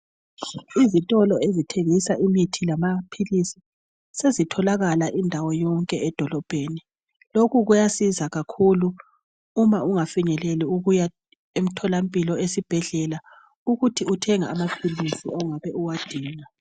Izitolo ezithengisa imithi lamaphilisi sezitholakala indawo yonke edolobheni. Lokhu kuyasiza kakhulu uma ungafinyeleli ukuya emtholampilo esibhedlela ukuthi uthenge amaphilisi ongabe uwadinga.